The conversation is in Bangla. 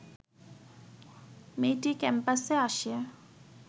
মেয়েটি ক্যাম্পাসে আসে